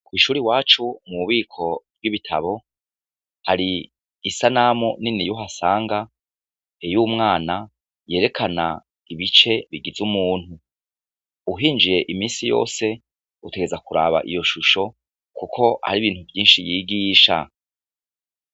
Kw'ishure iwacu, mu bubiko bw'ibitabo, hari isanamu niniya uhasanga, y'umwana yerekana ibice bigize umuntu; uhinjiye imisi yose utegerezwa kuraba iyo shusho, kuko hari ibintu vyishi yigisha.